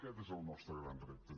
aquest és el nostre gran repte